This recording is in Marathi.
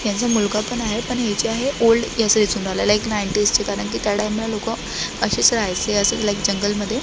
याचा मुलगा पण आहे पण ह्याची आहे ओल्ड एक नाईंटीस ची कारण कि त्या टाईमला लोक असेच राहायचे असेच लाईक जंगल मध्ये--